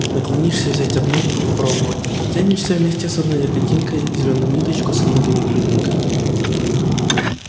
наклонишься взять одну попробовать и тянешь вместе с одной ягодинкой зелёную ниточку со многими клюквинками